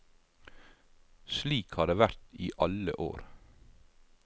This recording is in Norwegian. Slik har det vært i alle år.